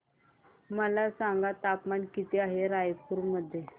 मला सांगा तापमान किती आहे रायपूर मध्ये